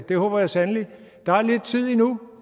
det håber jeg sandelig der er lidt tid endnu